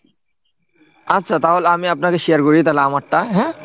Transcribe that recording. আচ্ছা তাহলে আমি আপনাকে শেয়ার করি তাহলে আমারটা হ্যাঁ??